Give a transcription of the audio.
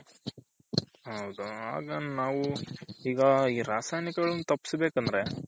ಹೌದ ಆಗ ಹಾ ನಾವು ಈಗ ರಾಸಾಯನಿಕ ತಪಸ್ಬೇಕು ಅಂದ್ರೆ